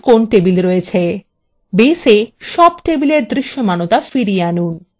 2 baseএ সব টেবিলের দৃশ্যমানতা ফিরিয়ে আনুন